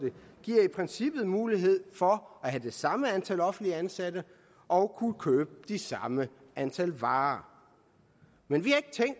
giver i princippet mulighed for at have det samme antal offentligt ansatte og kunne købe det samme antal varer men vi